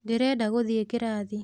Ndĩrenda gũthiĩ kĩrathi